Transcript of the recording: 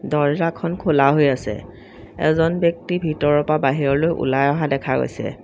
দৰ্জাখন খোলা হৈ আছে এজন ব্যক্তি ভিতৰৰ পৰা বাহিৰলৈ ওলাই অহা দেখা গৈছে।